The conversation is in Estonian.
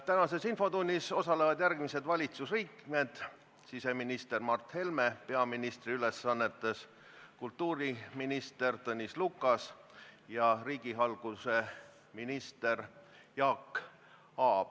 Tänases infotunnis osalevad järgmised valitsusliikmed: siseminister Mart Helme peaministri ülesannetes, kultuuriminister Tõnis Lukas ja riigihalduse minister Jaak Aab.